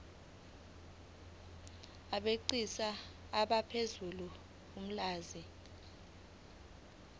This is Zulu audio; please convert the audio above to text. abegcis bazosebenzisa ulwazi